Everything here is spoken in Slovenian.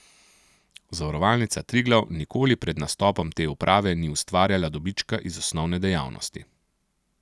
Zavarovalnica Triglav nikoli pred nastopom te uprave ni ustvarjala dobička iz osnovne dejavnosti.